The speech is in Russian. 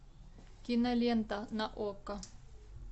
кинолента на окко